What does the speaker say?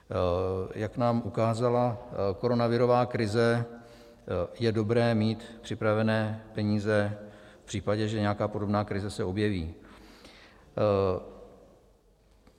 Jak nám ukázala koronavirová krize, je dobré mít připravené peníze v případě, že nějaká podobná krize se objeví.